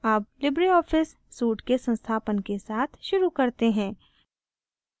अब LibreOffice suite के संस्थापन के साथ शुरू करते हैं